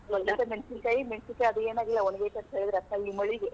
ಮೆಣಸಿನಕಾಯಿ ಅದು ಏನ್ ಆಗಿಲ್ಲ ಒಣಗೇತಿ ಅಂತ್ ಹೇಳಿದ್ರ ಅಂತ ಈ ಮಳಿಗೆ.